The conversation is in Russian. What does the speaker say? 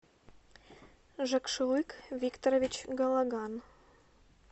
жакшылык викторович галаган